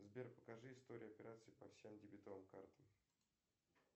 сбер покажи историю операций по всем дебетовым картам